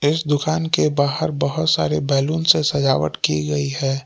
इस दुकान के बाहर बहोत सारे बैलून से सजावट की गई है।